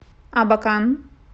абакан